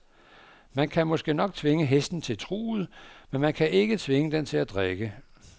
Man kan måske nok tvinge hesten til truget, men man kan ikke tvinge den til at drikke.